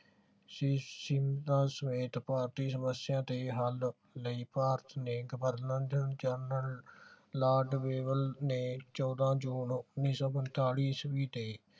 ਸਹਿਤ ਭਾਰਤੀ ਸਮਸਿਆ ਦੇ ਹੱਲ ਲਈ ਭਾਰਤ ਨੇ ਗਵਰਨਰ ਜਨਰਲ ਲਾਰਡ ਨੇ ਚੌਦਾਂ ਜੂਨ ਉੱਨੀ ਸੋ ਈਸਵੀ ਦੇ